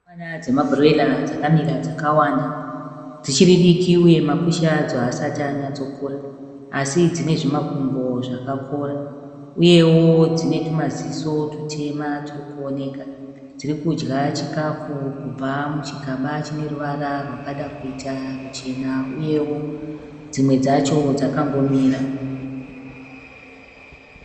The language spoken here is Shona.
Hukwana dzemabhuroira dzakamira dzakawanda. Dzichiridiki uye makushe adzo haasati anyatsokura. Asi dzine zvimakumbo zvakakora, Uyewo dzinetumaziso tutema turikuoneka. Dzirikudya chikafu kubva muchigaba chineruvara rwakada kuita ruchena. Uyewo dzimwe dzacho dzakangomira.